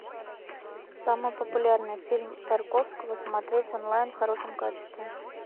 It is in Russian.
самый популярный фильм тарковского смотреть онлайн в хорошем качестве